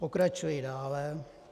Pokračuji dále.